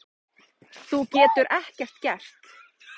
Þú getur ekkert gert.